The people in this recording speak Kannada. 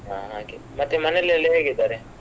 ಹಾ ಹಾಗೆ ಮತ್ತೆ ಮನೆಯಲ್ಲಿ ಎಲ್ಲ ಹೇಗಿದ್ದಾರೆ?